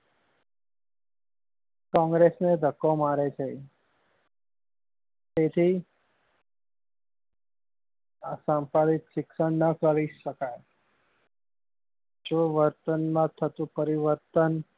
કોંગ્રેસ ને ધક્કો મારે છે તેથી આ સમાંશિક શિક્ષણ નાં કરી શકાય જો વર્તન માં થતું પરિવર્તન